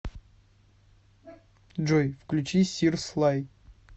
джой включи сир слай